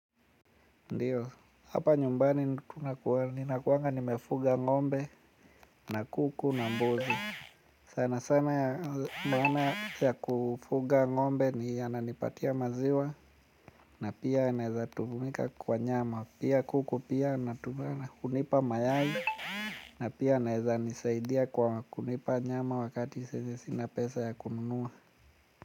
Ndiyo, hapa nyumbani nina kuanga nimefuga ng'ombe na kuku na mbuzi. Sana sana ya mbona ya kufuga ng'ombe ni ananipatia maziwa na pia anaeza tumika kwa nyama. Pia kuku pia natumana kunipa mayai na pia anaeza nisaidia kwa kunipa nyama wakati sahizi sina pesa ya kununua.